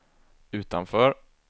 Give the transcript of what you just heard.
utanför